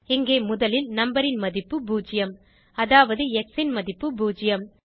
இங்கே முதலில் நம்பர் ன் மதிப்பு 0 அதாவது எக்ஸ் ன் மதிப்பு 0